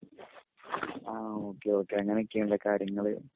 ആഹ് okay okay അങ്ങിനെയൊക്കേണല്ലേ കാര്യങ്ങള്